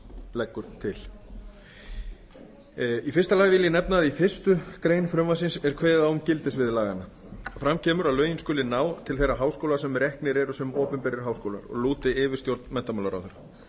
leggur til í fyrsta lagi vil ég nefna það að í fyrstu grein frumvarpsins er kveðið á um gildissvið laganna fram kemur að lögin skuli ná til þeirra háskóla sem eru reknir sem opinberir háskólar og lúti yfirstjórn menntamálaráðherra